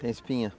Tem espinha?